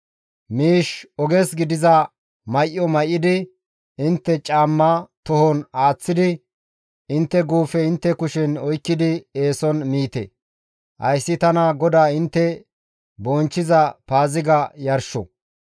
Miish, oges gidiza may7o may7idi, intte caamma tohon aaththidi intte guufe intte kushen oykkidi eeson miite; hayssi tana GODAA intte bonchchiza Paaziga yarsho.